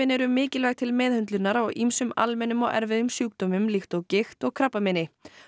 eru mikilvæg til meðhöndlunar á ýmsum almennum og erfiðum sjúkdómum líkt og gigt og krabbameini